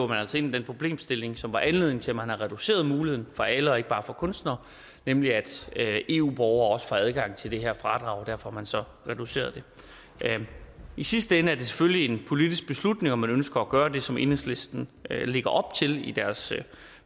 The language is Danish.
man altså ind i den problemstilling som var anledningen til at man reducerede muligheden for alle og ikke bare for kunstnere nemlig at eu borgere også får adgang til det her fradrag og derfor har man så reduceret det i sidste ende er det selvfølgelig en politisk beslutning om man ønsker at gøre det som enhedslisten lægger op til i deres